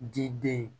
Di den